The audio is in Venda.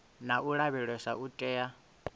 na u lavheleswa u tea